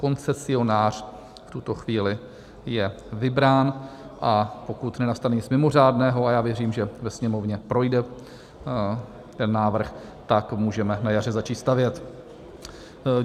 Koncesionář v tuto chvíli je vybrán, a pokud nenastane nic mimořádného, a já věřím, že ve Sněmovně projde ten návrh, tak můžeme na jaře začít stavět.